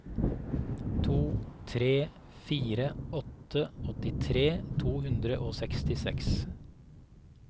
to tre fire åtte åttitre to hundre og sekstiseks